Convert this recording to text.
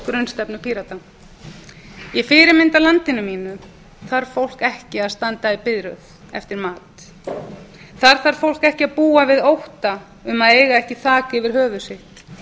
grunnstefnu pírata í fyrirmyndarlandinu mínu þarf fólk ekki að standa í biðröð eftir mat þar þarf fólk ekki að búa við ótta um að eiga ekki þak yfir höfuð sitt